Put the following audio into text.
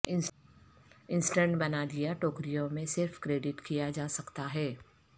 assistant بنا دیا ٹوکریوں میں صرف کریڈٹ کیا جا سکتا ہے